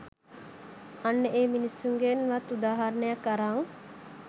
අන්න ඒ මිනිස්සුන්ගෙන් වත් උදාහරණයක් අරන්